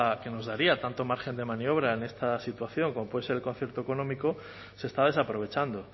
que nos daría tanto margen de maniobra en esta situación como puede ser el concierto económico se está desaprovechando